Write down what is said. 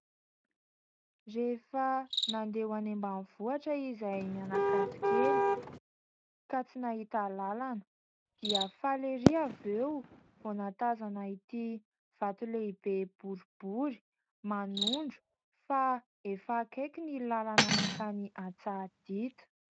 Rehefa nandeha ho any ambanivohitra izahay mianakavy kely ka tsy nahita lalana dia faly ery avy eo vao nahatazana ity vato lehibe boribory manondro fa efa akaiky ny lalana mankany Antsahadita.